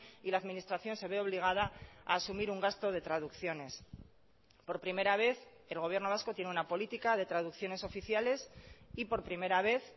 y la administración se ve obligada a asumir un gasto de traducciones por primera vez el gobierno vasco tiene una política de traducciones oficiales y por primera vez